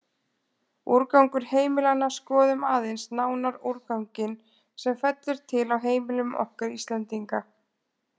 Úrgangur heimilanna Skoðum aðeins nánar úrganginn sem fellur til á heimilum okkar Íslendinga.